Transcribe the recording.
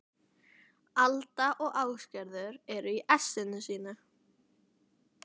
Alda og Ásgerður eru í essinu sínu.